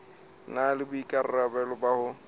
na le boikarabelo ba ho